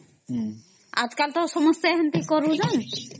ଅମ୍ଆ ଜି କାଲି ତା ସମସ୍ତେ ସେମିତି କରୁଛନ